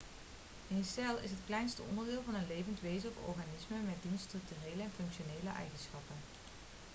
een cel is het kleinste onderdeel van een levend wezen of organisme met diens structurele en functionele eigenschappen